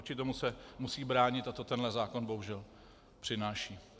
Vůči tomu se musí bránit a to tenhle zákon bohužel přináší.